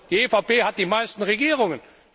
Die EVP hat die meisten Regierungen